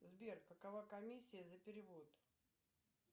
сбер какова комиссия за перевод